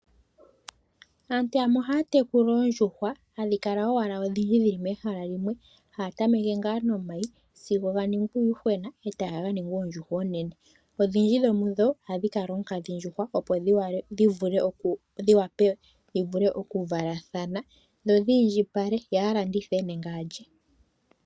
Aantu yamwe ohaya tekula oondjuhwa hadhi kala owala odhindji dhili mehala limwe haya tameke ngaa nomayi sigo ganingi uuyuhwena etaga kaninga oondjuhwa oonene. Odhindji dhomudho ohadhi kala oonkadhindjuhwa opo dhi wape dhivule okuvalathana ndhi indjipale yo yalandithe nenge alye.